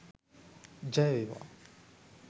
ජය වේවා!